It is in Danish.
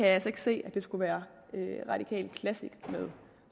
altså ikke se skulle være en radikal classic med